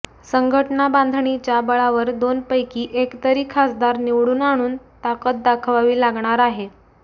संघटना बांधणीच्या बळावर दोनपैकी एक तरी खासदार निवडून आणून ताकद दाखवावी लागणार आहे